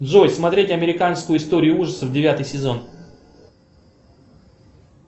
джой смотреть американскую историю ужасов девятый сезон